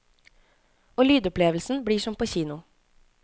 Og lydopplevelsen blir som på kino.